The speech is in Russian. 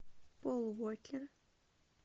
пол уокер